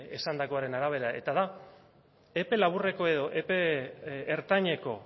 esandakoaren arabera eta da epe laburreko edo epe ertaineko